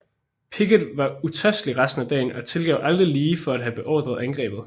Pickett var utrøstelig resten af dagen og tilgav aldrig Lee for at have beordret angrebet